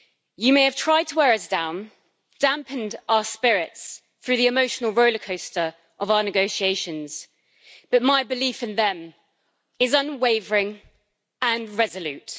You may have tried to wear us down, dampened our spirits through the emotional rollercoaster of our negotiations, but my belief in them is unwavering and resolute.